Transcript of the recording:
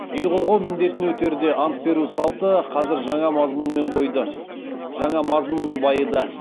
ел қорғау міндетін өтерде ант беру салты қазір жаңа мазмұнмен байыды